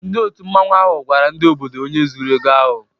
Ndị òtù Mmanwu ahụ gwara ndị obodo onye zuru ego ahụ.